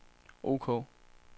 ok